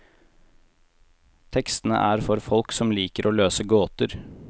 Tekstene er for folk som liker å løse gåter.